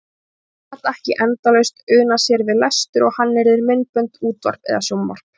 Og hún gat ekki endalaust unað sér við lestur og hannyrðir, myndbönd, útvarp eða sjónvarp.